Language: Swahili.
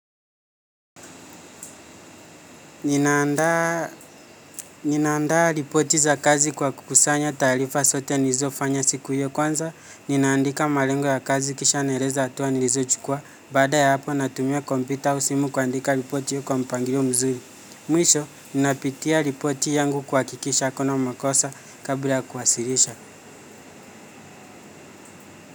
Ninaandaa ripoti za kazi kwa kukusanya taarifa zote nilizofanya siku ya kwanza, ninaandika malengo ya kazi kisha naeleza hatuwa nilizo chukua, baada ya hapo natumia kompyuta au simu kuandika ripoti kwa mpangilio mzuri. Mwisho, ninapitia ripoti yangu kuhakikisha hukuna makosa kabla ya kuwasilisha.